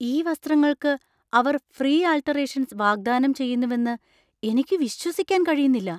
ഈ വസ്ത്രങ്ങൾക്ക് അവർ ഫ്രീ ആൾട്ടറേഷൻസ് വാഗ്ദാനം ചെയ്യുന്നുവെന്ന് എനിക്ക് വിശ്വസിക്കാൻ കഴിയുന്നില്ല!